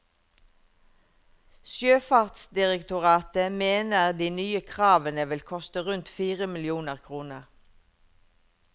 Sjøfartsdirektoratet mener de nye kravene vil koste rundt fire millioner kroner.